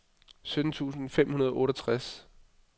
sytten tusind fem hundrede og otteogtres